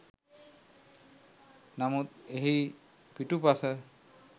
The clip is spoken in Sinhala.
නමුත් එහි පිටුපස